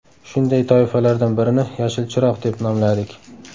Shunday toifalardan birini ‘Yashil chiroq’ deb nomladik.